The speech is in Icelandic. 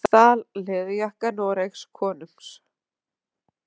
Stal leðurjakka Noregskonungs